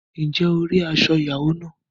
Ǹjẹ́ o rí aṣọ ìyàwó náà?